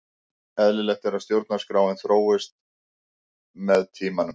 Eðlilegt er að stjórnarskráin þróist og breytist með tímanum.